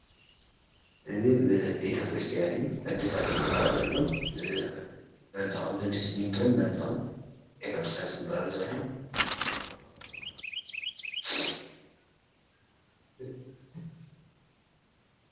እዚ ቤተ ክርስትያን እዩ ሕድሳት ይግበረሉ ኣሎ፣ መንደቁ ብስሚንቶን መንደቅን እዩ ሕድሳት ይግበረሉ ዘሎ